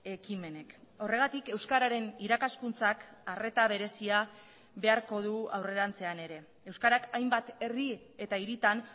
ekimenek horregatik euskararen irakaskuntzak arreta berezia beharko du aurrerantzean ere euskarak hainbat herri eta hiritan